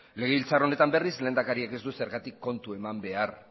legebiltzar honetan berriz lehendakariak ez du zergatik kontu eman behar